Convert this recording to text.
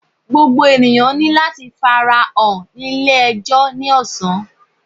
Gbogbo eniyan ni lati farahan ni ile-ẹjọ ni ọsan